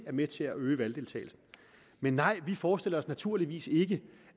med til at øge valgdeltagelsen nej vi forestiller os naturligvis ikke